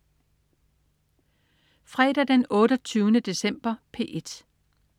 Fredag den 28. december - P1: